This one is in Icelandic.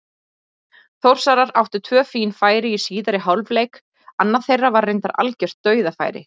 Þórsarar áttu tvö fín færi í síðari hálfleik, annað þeirra var reyndar algjört dauðafæri.